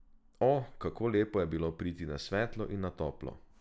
O, kako lepo je bilo priti na svetlo in na toplo!